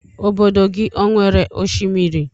Ọbọdọ gị ọ nwere oshimiri?